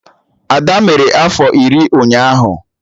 Ada mere afọ iri ụnyaahụ